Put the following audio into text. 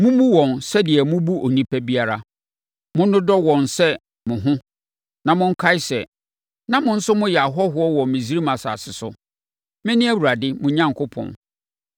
Mommu wɔn sɛdeɛ mobu onipa biara. Monnodɔ wɔn sɛ mo ho na monkae sɛ, na mo nso moyɛ ahɔhoɔ wɔ Misraim asase so. Mene Awurade mo Onyankopɔn.